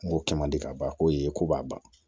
N go kɛ mandi ka ban ko ye ko b'a ban